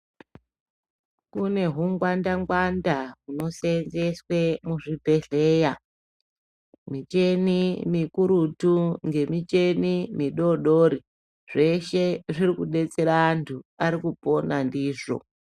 Kunehungwanda ngwanda hunosenzeswe muzvibhehleya miteni mikurutu ngemiteni midodori zveshe zviri kudetsera antu arikupona ndizvo.